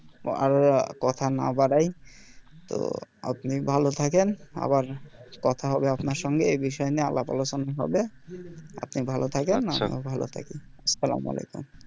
তো আর কথা না বাড়াই তো আপনি ভালো থাকেন আবার কথা হবে আপনার সঙ্গে এই বিষয় নিয়ে আলাপ আলোচনা হবে আপনি ভালো থাকেন ভালো থাকি সালামালেকুম